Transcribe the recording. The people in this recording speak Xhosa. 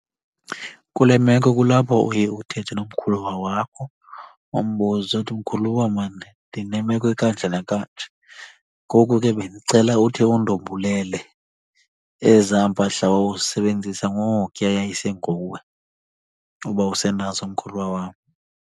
Kule meko kulapho uye uthethe nomkhuluwa wakho umbuze uthi, mkhuluwa mani ndinemeko ekanje nakanje. Ngoku ke bendicela uthi undombulele ezaa mpahla wawuzisebenzisa ngokuya yayisenguwe, uba usenazo mkhuluwa wam.